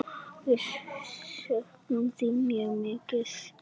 Við söknum þín mjög mikið.